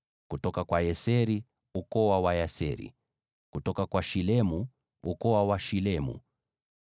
kutoka kwa Yeseri, ukoo wa Wayeseri; kutoka kwa Shilemu, ukoo wa Washilemu.